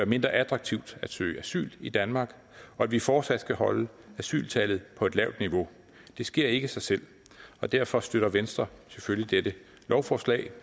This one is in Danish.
mindre attraktivt at søge asyl i danmark og at vi fortsat skal holde asyltallet på et lavt niveau det sker ikke af sig selv derfor støtter venstre selvfølgelig dette lovforslag